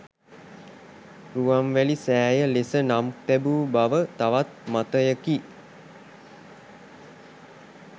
රුවන්වැලි සෑය ලෙස නම් තැබූ බව තවත් මතයකි.